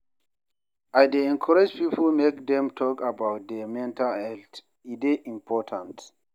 I dey encourage people make dem talk about their mental health, e dey important.